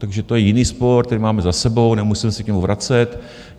Takže to je jiný spor, který máme za sebou, nemusíme se k němu vracet.